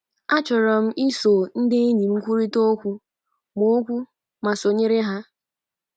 Achọrọ m iso ndị enyi m kwurịta okwu ma okwu ma sonyere ha. ”